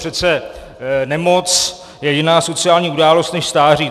Přece nemoc je jiná sociální událost než stáří.